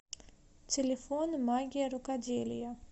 телефон магия рукоделия